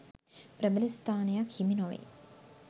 ප්‍රබල ස්ථානයක් හිමි නොවේ.